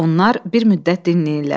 Onlar bir müddət dinləyirlər.